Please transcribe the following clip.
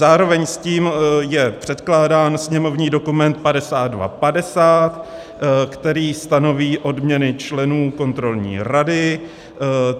Zároveň s tím je předkládán sněmovní dokument 5250, který stanoví odměny členů kontrolní rady.